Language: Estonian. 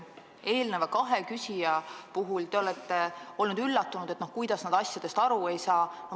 Eelneva kahe küsija puhul te olite üllatunud, et kuidas nad asjadest aru ei saa.